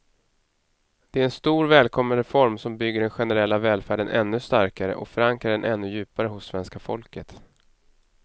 Det är en stor, välkommen reform som bygger den generella välfärden ännu starkare och förankrar den ännu djupare hos svenska folket.